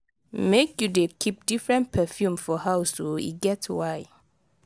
make you dey keep different perfume for house o e get why.